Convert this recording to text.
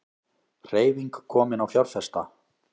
Hreyfing komin á fjárfesta